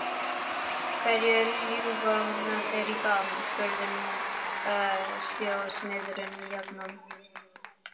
Hverju ljúga þeir í dag? spurði skósmiðurinn jafnan.